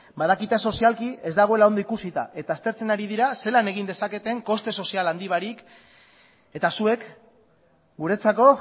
badakit sozialki ez dagoela ondo ikusita eta aztertzen ari dira zelan egin dezaketen koste sozial handi barik eta zuek guretzako